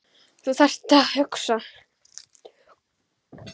Og þú þarft að hugsa.